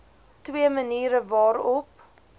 twee maniere waarop